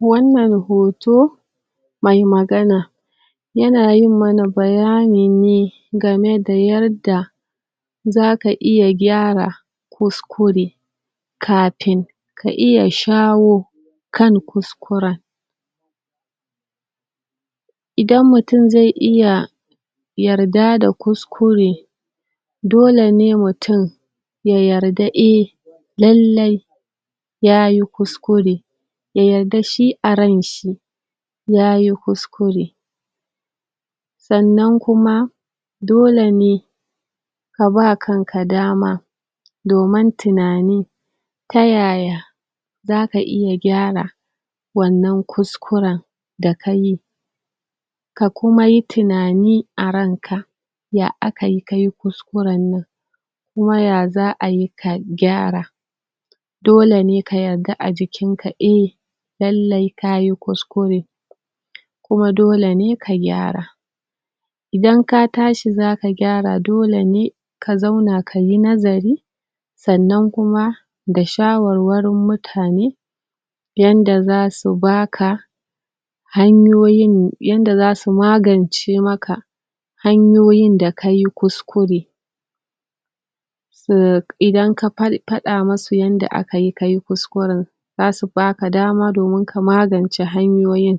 Wannar hoto, mai magana ya na yin mana bayanin ne game da yarda za ka iya gyara kuskure kafin ka iya shawo kan kuskuren. Idan mutum zai iya yarda da kuskure. dole ne mutum ya yarda eh, lallai yayi kuskure da yadda shi a rai'n shi ya yi kuskure tsannan kuma, dole ne ka ba kanka dama domin tunani, ta yaya za ka iya gyara wannan kuskuren da kayi ka kuma yi tunani a ran ka ya a ka yi ka yi kuskuren nan, kuma ya zaa yi ka gyara dole ne ka yadda a jikin ka eh lallai ka yi kuskure kuma dole ne ka gyara Idan ka tashi, za ka gyara dole ne ka zauna ka yi nazari. Tsannan kuma, da shawarwar mutane yanda za su ba ka hanyoyin, yanda za su magance ma ka hanyoyin da ka yi kuskure su idan ka far fada ma su yanda a ka yi, ka yi kuskuren za su ba ka dama domin kamagance hanyoyin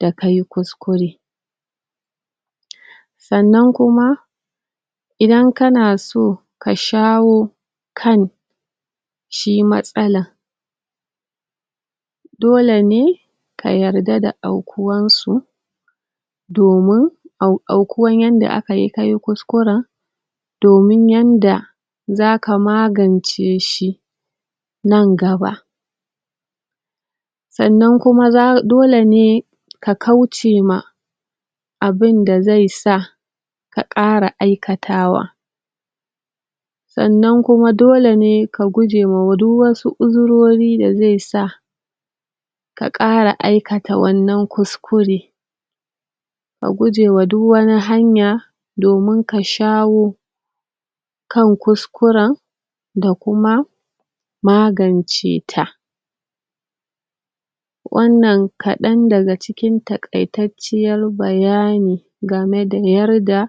da ka yi kuskure tsannan kuma idan ka na so, ka shawo kan shi matsala dole ne, ka yarda da akuwan su domin au daukuwan yanda aka yi ka yi kuskuren domin yadda za ka magance shi nan gaba tsannan kuma za, dole ne ka kauce ma abinda zai sa, ka kara aikatawa tsannan kuma dole ne ka guje ma duk wasu kuzurori da zai sa ka kara aikata wannan kuskure ka guje wa duk wani hanya domin ka shawo kan kuskuren da kuma magance ta wannan kadan da ga cikin takai tacciyar bayani game da iyar da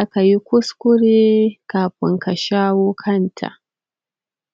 a kayi kuskure kafun ka shawo kanta.